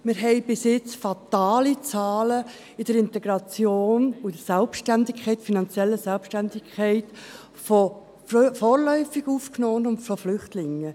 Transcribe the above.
Wir haben bis jetzt fatale Zahlen in der Integration und in der finanziellen Selbstständigkeit von vorläufig Aufgenommenen und Flüchtlingen.